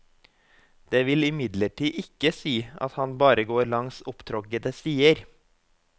Det vil imidlertid ikke si at han bare går langs opptråkkede stier.